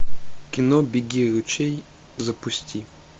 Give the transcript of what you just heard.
кино беги ручей запусти